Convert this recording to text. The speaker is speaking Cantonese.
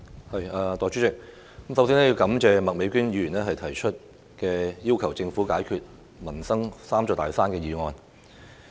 代理主席，我首先感謝麥美娟議員提出"要求政府解決民生'三座大山'"這項議案。